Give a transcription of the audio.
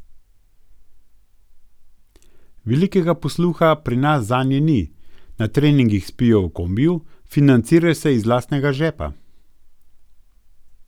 Velikega posluha pri nas zanje ni, na treningih spijo v kombiju, financirajo se iz lastnega žepa ...